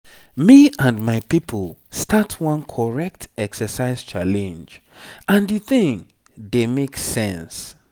me and my people start one correct exercise challenge and the thing dey make sense.